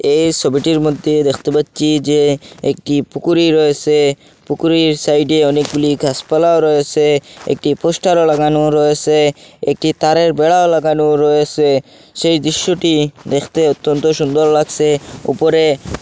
এই সবিটির মধ্যে দেখতে পাচ্ছি যে একটি পুকুরি রয়েসে পুকুরির সাইডে অনেকগুলি গাসপালাও রয়েসে একটি পোস্টারও লাগানো রয়েসে একটি তারের বেড়া লাগানো রয়েসে সেই দৃশ্যটি দেখতে অত্যন্ত সুন্দর লাগসে উপরে--